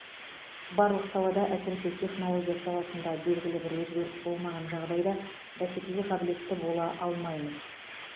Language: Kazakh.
барлық салада әсіресе технология саласында белгілі бір өзгеріс болмаған жағдайда бәсекеге қабілетті бола алмаймыз